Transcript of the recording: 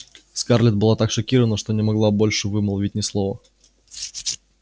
скарлетт была так шокирована что не могла больше вымолвить ни слова